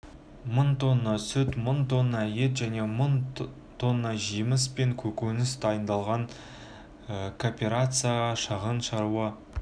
мың тонна сүт мың тонна ет және тонна жеміс пен көкөніс дайындалған копперацияға шағын шаруа